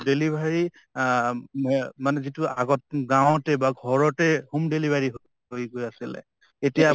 delivery অ ম মানে যিটো আগত গাওঁতে বা ঘৰতে home delivery আছিলে